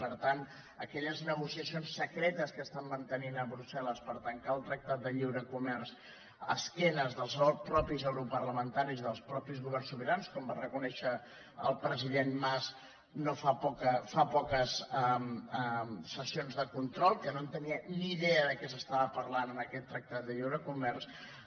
per tant aquelles negociacions secretes que estan mantenint a brussel·les per tancar el tractat de lliure comerç a esquena dels mateixos europarlamentaris dels mateixos governs sobirans com va reconèixer el president mas fa poques sessions de control que no en tenia ni idea de què s’estava parlant en aquest tractat de lliure comerç